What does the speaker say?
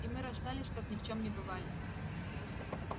и мы расстались как ни в чем не бывали